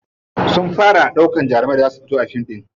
Sun fara ɗaukan jaruman da za su fito a fim ɗin.